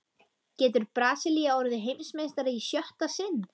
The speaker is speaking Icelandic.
Getur Brasilía orðið Heimsmeistari í sjötta sinn?